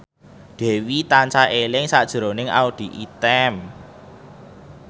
Dwi tansah eling sakjroning Audy Item